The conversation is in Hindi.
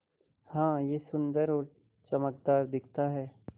हाँ यह सुन्दर और चमकदार दिखता है